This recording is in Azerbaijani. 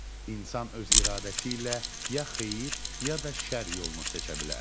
İnsan öz iradəsi ilə ya xeyir, ya da şərr yolunu seçə bilər.